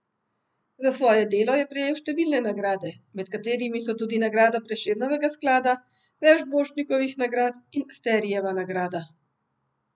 Za svoje delo je prejel številne nagrade, med katerimi so tudi nagrada Prešernovega sklada, več Borštnikovih nagrad in Sterijeva nagrada.